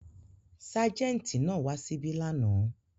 Ságẹ́ńtì náà wà ṣíbí lánàá.